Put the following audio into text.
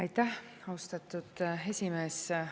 Aitäh, austatud esimees!